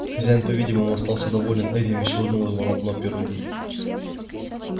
хозяин по видимому остался доволен этим и швырнул его на дно пироги